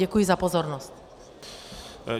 Děkuji za pozornost.